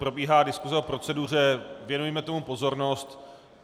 Probíhá diskuse o proceduře, věnujme tomu pozornost.